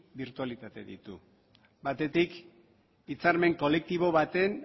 birtualitate ditu batetik hitzarmen kolektibo baten